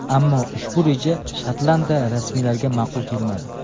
Ammo ushbu reja Shotlandiya rasmiylariga ma’qul kelmadi.